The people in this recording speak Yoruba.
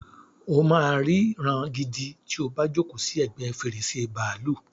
O máa ri ìran gidi ti o bá jókòó sì ẹgbẹ́ fèrèsé bàálù.